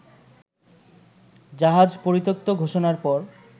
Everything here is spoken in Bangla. জাহাজ পরিত্যক্ত ঘোষণার পর